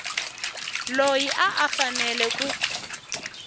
loyi a a fanele ku